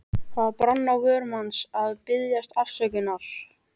Það brann á vörum hans að biðjast afsökunar.